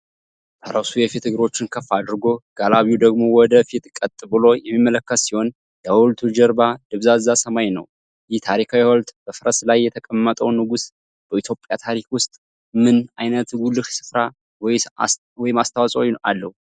ፈረሱ የፊት እግሮቹን ከፍ አድርጎ፣ ጋላቢው ደግሞ ወደ ፊት ቀጥ ብሎ የሚመለከት ሲሆን፣ የሐውልቱ ጀርባ ደብዛዛ ሰማይ ነው። ይህ ታሪካዊ ሐውልት በፈረስ ላይ የተቀመጠው ንጉሥ በኢትዮጵያ ታሪክ ውስጥ ምን አይነት ጉልህ ስፍራ ወይም አስተዋፅዖ አለው?